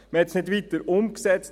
Es wurde nicht weiter umgesetzt.